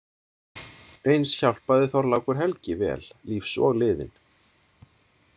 Eins hjálpaði Þorlákur helgi vel, lífs og liðinn.